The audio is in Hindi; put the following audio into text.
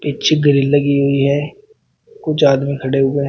पीछे ग्रील लगी हुई है कुछ आदमी खड़े हुए हैं।